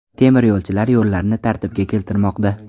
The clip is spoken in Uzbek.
Temiryo‘lchilar yo‘llarni tartibga keltirmoqda.